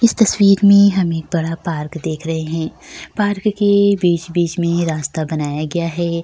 इस तस्वीर मे हम एक बड़ा पार्क देख रहे है पार्क के बीच-बीच मे रास्ता बनाया गया है।